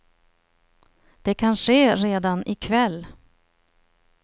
Det kan ske redan i kväll.